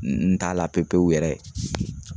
N n t'a la pepewu yɛrɛ